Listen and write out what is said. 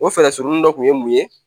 O fɛɛrɛ surunin dɔ kun ye mun ye